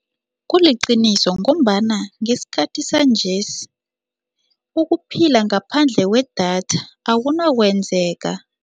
Kuliqiniso ngombana ngesikhathi sanjesi ukuphila ngaphandle kwedatha akunokwenzeka.